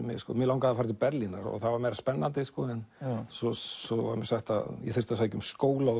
mig mig langaði til Berlínar og það var meira spennandi en svo svo var mér sagt að ég þyrfti að sækja um skóla og